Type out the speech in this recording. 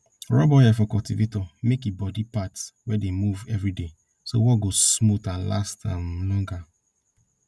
rub oil for cultivator make e body parts wey dey move everyday so work go smooth and last um longer